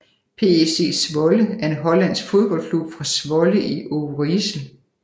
PEC Zwolle er en hollandsk fodboldklub fra Zwolle i Overijssel